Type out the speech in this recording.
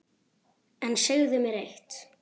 En segðu mér eitt